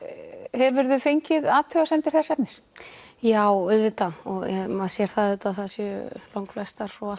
hefurðu fengið athugasemdir þess efnis já auðvitað og maður sér það auðvitað að það séu langflestar og